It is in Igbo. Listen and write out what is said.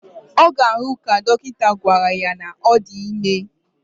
Oga ahu, ka dokita gwara ya na odime